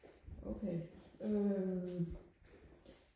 okay øhm